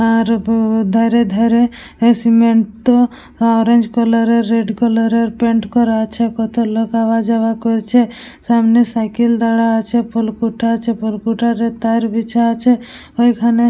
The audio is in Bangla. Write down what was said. আর গো ধারে ধারে এ সিমেন্ট টো অরেঞ্জ কালার এর রেড কালার এর পেইন্ট করা আছে। কত লোক আওয়াও যাওয়া করছে। সামনে সাইকেল দারা আছে। ফলকুটা আছে ফুলকুটারে তার বিচ আছে। ওইখানে--